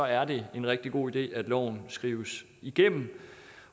er det en rigtig god idé at loven skrives igennem